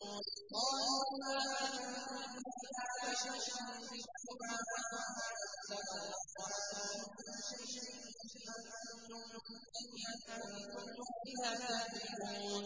قَالُوا مَا أَنتُمْ إِلَّا بَشَرٌ مِّثْلُنَا وَمَا أَنزَلَ الرَّحْمَٰنُ مِن شَيْءٍ إِنْ أَنتُمْ إِلَّا تَكْذِبُونَ